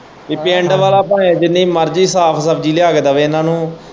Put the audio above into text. ਕੀ ਪਿੰਡ ਵਾਲ਼ਾ ਭਾਵੇਂ ਜਿੰਨੀ ਮਰਜ਼ੀ ਸਾਫ ਸਬਜ਼ੀ ਲਿਆ ਕੇ ਦੇਵੇਂ ਇਹਨੇ ਨੂੰ।